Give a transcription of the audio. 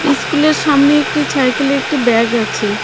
ইস্কুলের সামনে একটি ছাইকেলে একটি ব্যাগ আছে .